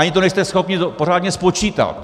Ani to nejste schopni pořádně spočítat.